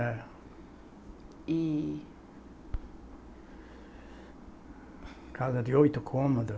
É. E Casa de oito cômodos.